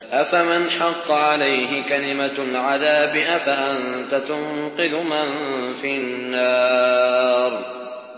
أَفَمَنْ حَقَّ عَلَيْهِ كَلِمَةُ الْعَذَابِ أَفَأَنتَ تُنقِذُ مَن فِي النَّارِ